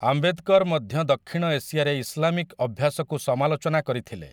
ଆମ୍ବେଦକର ମଧ୍ୟ ଦକ୍ଷିଣ ଏସିଆରେ ଇସ୍‌ଲାମିକ୍‌ ଅଭ୍ୟାସକୁ ସମାଲୋଚନା କରିଥିଲେ ।